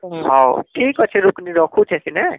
ହୁଁ ହଉ ଠିକ ଅଛି ଋକଣି ରଖୁଛେ ସିନେ